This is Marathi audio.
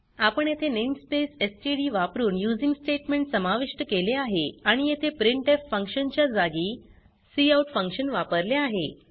आपण येथे नेमस्पेस एसटीडी वापरुन यूझिंग स्टेटमेंट समाविष्ट केले आहे आणि येथे प्रिंटफ फंक्शन च्या जागी काउट फंक्शन वापरले आहे